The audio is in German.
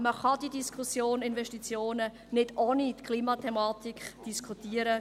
Man kann die Diskussion über Investitionen nicht ohne die Klimathematik führen.